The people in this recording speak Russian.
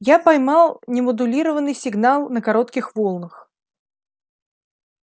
я поймал немодулированный сигнал на коротких волнах